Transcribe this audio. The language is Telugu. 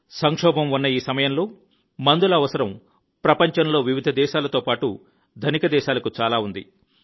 సంక్షోభం ఉన్న ఈ సమయంలో మందుల అవసరం ప్రపంచంలో వివిధ దేశాలతో పాటు ధనిక దేశాలకు చాలా ఉంది